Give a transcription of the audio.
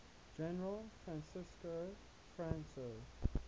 general francisco franco